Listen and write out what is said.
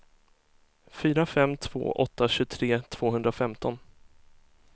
fyra fem två åtta tjugotre tvåhundrafemton